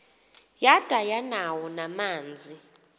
yada yanawo namanzi